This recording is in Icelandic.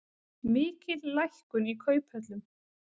Mikil lækkun í kauphöllum